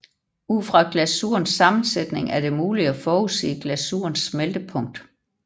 Ud fra glasurens sammensætning er det muligt at forudsige glasurens smeltepunkt